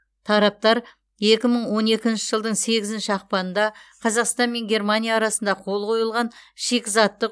тараптар екі мың он екінші жылдың сегізінші ақпанында қазақстан мен германия арасында қол қойылған шикізаттық